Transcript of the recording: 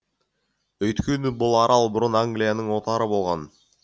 өйткені бұл арал бұрын англияның отары болған